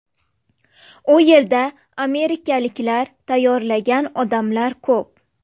U yerda amerikaliklar tayyorlagan odamlar ko‘p.